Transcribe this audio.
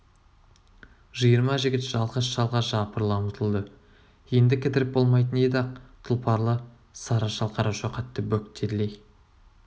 жиырма жігіт жалғыз шалға жапырыла ұмтылды енді кідіріп болмайтын еді ақ тұлпарлы сары шал қарашоқатты бөктерлей